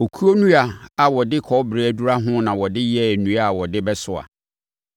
Okuo nnua a wɔde kɔbere adura ho na wɔde yɛɛ nnua a wɔde bɛsoa.